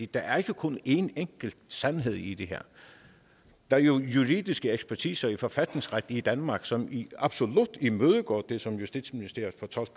der er ikke kun en enkelt sandhed i det her der er jo juridiske ekspertiser i forfatningsret i danmark som absolut imødegår den fortolkning som justitsministeriet